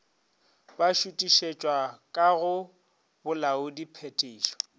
ba šuthišetšwa ka go bolaodiphethiši